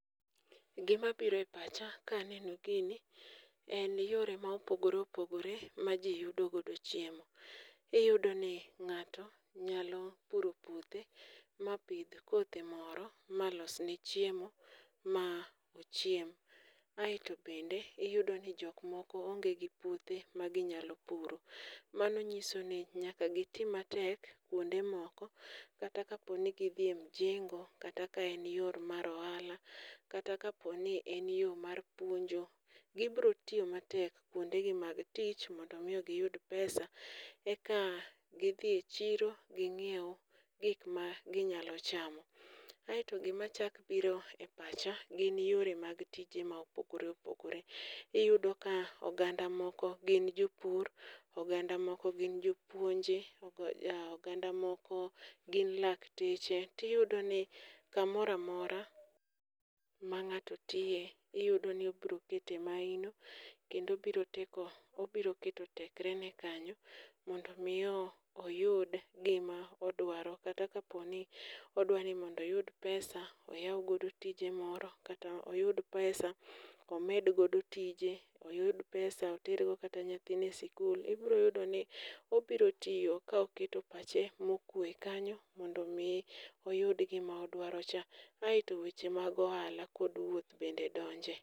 Gimabiro e pacha kaneno gini en yore ma opogore opogore ma ji yudo godo chiemo. Iyudo ni ng'ato nyalo puro puothe mapidh kothe moro malosne chiemo maochiem. Aeto bende iyudo ni jok moko onge gi puothe maginyalo puro, mano nyiso ni nyaka giti matek kwonde moko kata kaponi gidhi e mjengo kata ka en yo mar ohala, kata kaponi en yo mar puonjo, gibiro tiyo matek kwondegi mag tich mondo omi giyud pesa eka gidhi chiro ginyiew gik maginyalo chamo. Aeto gimachak biro e pacha gin yore mag tije ma opogore opogore. Iyudo ka oganda moko gin jopur, oganda moko gin jopuonje, oganda moko gin lakteche, tiyudo ni kamoro amora ma ng'ato tiye iyudo ni obiro kete mahino kendo obiro teko, obiro keto tekre kanyo mondo omi oyud gima odwaro. Kata kaponi odwa ni mondo oyud pesa oyaw godo tije moro, kata oyud pesa omed godo tije, oyud pesa oter go kata nyathine sikul. Ibiro yudoni obiro tiyo ka oketo pache mokwe kanyo, mondo omi oyud gima odwarocha. Aeto weche mag ohala kod wuoth bende donje.